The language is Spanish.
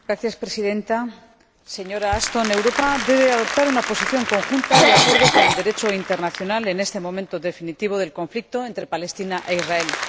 Señora Presidenta, señora Ashton, Europa debe adoptar una posición conjunta y acorde con el Derecho internacional en este momento definitivo del conflicto entre Palestina e Israel.